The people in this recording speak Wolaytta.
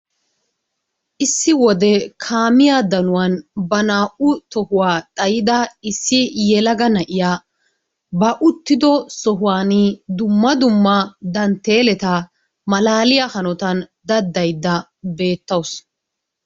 Issi wode kaamiyaa danuwaan ba naa"u tohuwaa xaayida issi yelaga na'iyaa ba uttido sohuwaan dumma dumma dantteeleta malaaliyaa hanotaan daddaydda beettawusu.